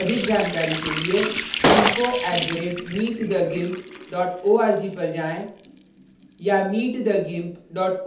अधिक जानकारी के लिए info @meet the gimp org पर जाएँ या meet the gimp